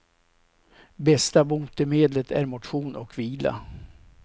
Bästa botemedlet är motion och vila.